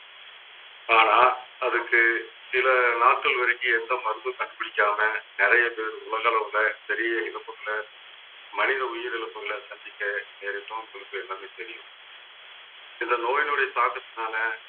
ஆனா அதுக்கு சில நாட்கள் வரைக்கும் எந்த மருந்தும் கண்டுபிடிக்காம நிறைய பேர் உலக அளவுல பெரிய இழப்புகளை மனித உயிரிழப்புகளை சந்திக்க நேரிடும் உங்களுக்கு எல்லாமே தெரியும் இந்த நோயினுடைய தாக்கத்தினாலே